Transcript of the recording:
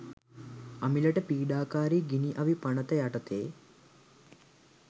අමිලට පීඩාකාරි ගිනි අවි පනත යටතේ